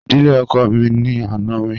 Ìdílé ọkọ mi ni àna mi